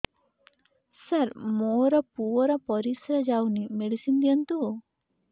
ସାର ମୋର ପୁଅର ପରିସ୍ରା ଯାଉନି ମେଡିସିନ ଦିଅନ୍ତୁ